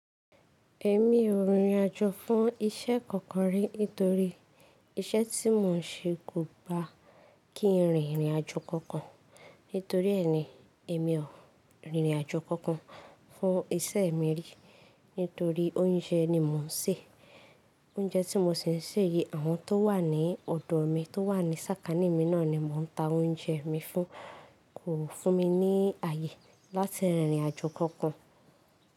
Èmi ò rìnrìn àjò fún ìṣẹ́ kankan rí nítorí iṣẹ́ tí mò ń ṣe kò gba kí n rìn ìrìnàjò kankan. Nítorí ẹni, èmi ò rìnrìn àjò kankan fún ìṣe mi rí nítorí oúnjẹ ni mò ń sè. Oúnjẹ tí mò ṣì ń sè yi, àwọn tó wà ní ọ̀dọ̀ mi tó wà ní sàkání mi náà ni mò ń ta oúnjẹ mi fún kò fún mi ní ààyè láti rìnrìn àjò kankan.